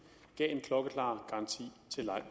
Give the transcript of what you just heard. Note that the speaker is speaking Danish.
til